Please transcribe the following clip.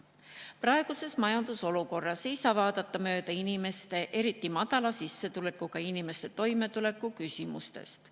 Praeguses majandusolukorras ei saa vaadata mööda inimeste, eriti madala sissetulekuga inimeste toimetuleku küsimustest.